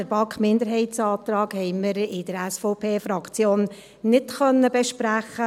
Den BaK-Minderheitsantrag konnten wir in der SVP-Fraktion nicht besprechen.